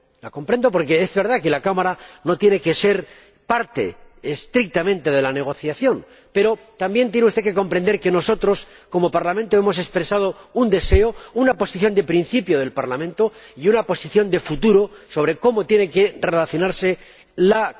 La comprendo porque es verdad que la Cámara no tiene que ser parte estrictamente de la negociación, pero también tiene usted que comprender que nosotros, como Parlamento, hemos expresado un deseo, una posición de principio del Parlamento y una posición de futuro sobre cómo tiene que relacionarse la Cámara con las negociaciones internacionales.